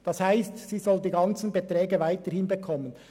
Das heisst, sie soll die ganzen Beiträge weiterhin erhalten.